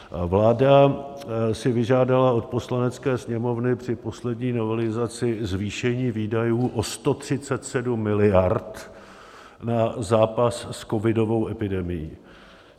Vláda si vyžádala od Poslanecké sněmovny při poslední novelizaci zvýšení výdajů o 137 miliard na zápas s covidovou epidemií.